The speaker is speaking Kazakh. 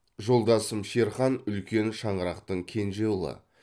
жолдасым шерхан үлкен шаңырақтың кенже ұлы